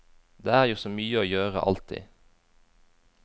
Det er jo så mye å gjøre alltid.